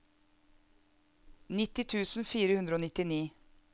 nitti tusen fire hundre og nittini